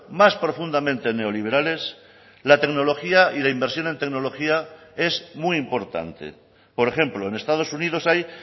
más profundamente neoliberales la tecnología y la inversión en tecnología es muy importante por ejemplo en estados unidos hay